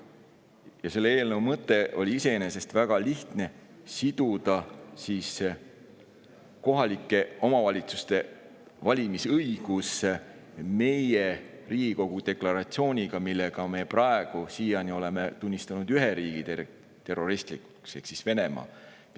Selle eelnõu mõte on iseenesest väga lihtne: siduda kohalike omavalitsuste valimise õigus meie Riigikogu deklaratsiooniga, millega me oleme tunnistanud terroristlikuks ühe riigi, Venemaa.